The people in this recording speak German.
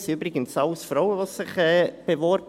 Es haben sich übrigens ausschliesslich Frauen beworben.